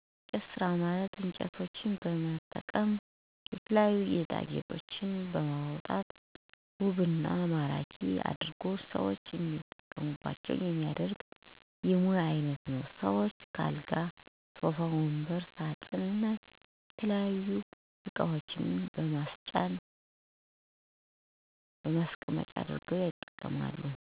የእንጨት ስራ ማለት እንጨቶችን በመጠቀም የተለያዩ ጌጦችን በማውጣት ውብ እና ማራኪ አድርጎ ሰዎች እንዲጠቀሙባቸው የማድረግ የሙያ አይነት ነው። ሰዎችም ከአልጋ ሶፋ ወንበር ሳጥን እና የተለያዩ እቃዋችን ማስቀመጫ አድርገው ያጠቀሙባቸዋል። የሸክላ ስራ ማለት ጭቃን በመጠቀም ለተለያዩ መገልገያዎች የሚሰሩበት ጥበብ ነው። እነሱም በእየለት ተግባራችን የምንጠቀምባቸው እቃዎችን እና ጌጦችን ይጨምራል። ለምሳሌ ጀበና ድስት የአበባ ማስቀመጫ ወዘተ ናቸው